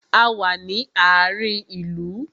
A wà ní àárín ìlú